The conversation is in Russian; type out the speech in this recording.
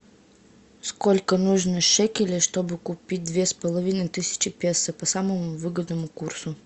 сколько нужно шекелей чтобы купить две с половиной тысячи песо по самому выгодному курсу